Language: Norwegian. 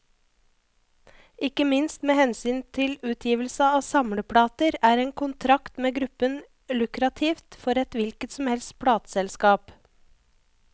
Ikke minst med hensyn til utgivelse av samleplater, er en kontrakt med gruppen lukrativt for et hvilket som helst plateselskap.